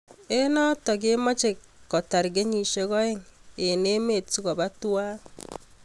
Eng notok kimachee kotar kenyisiek oeng eng emet sikopaa tuwai